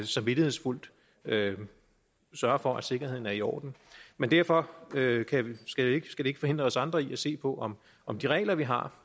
samvittighedsfuldt sørger for at sikkerheden er i orden men derfor skal det ikke forhindre os andre i at se på om om de regler vi har